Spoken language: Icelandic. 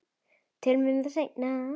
Tölum um það seinna.